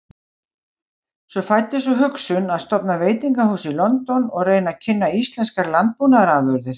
Svo fæddist sú hugsun að stofna veitingahús í London og reyna að kynna íslenskar landbúnaðarafurðir.